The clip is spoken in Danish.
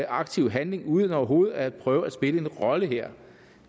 aktiv handling uden overhovedet at prøve at spille en rolle her